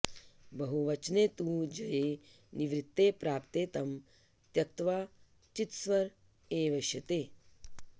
बहुवचने तु ञ्ये निवृत्ते प्राप्ते तं त्यक्त्वा चित्स्वर एवेष्यते